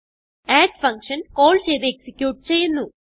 add function call ചെയ്ത് execute ചെയ്യുന്നു